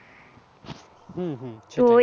হম হম সেটাই